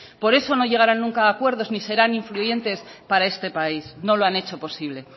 por eso no llegarán nunca a acuerdos ni serán influyentes para este país no lo han hecho posible